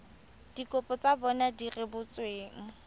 dikopo tsa bona di rebotsweng